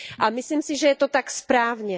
A myslím si, že je to tak správně.